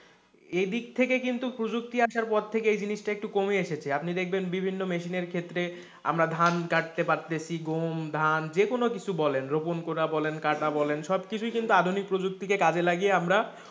এদিক থেকে কিন্তু প্রযুক্তি আসার পর থেকে এই জিনিসটা একটু কমে এসেছে, আপনি দেখবেন বিভিন্ন মেশিনের ক্ষেত্রে আমরা ধান কাটতে পারতেছি, গম, ধান যেকোনো কিছু বলেন রোপণ করা বলেন, কাটা বলেন সব কিছু কিন্তু আধুনিক প্রযুক্তি কাজে লাগিয়ে বলেন আমরা,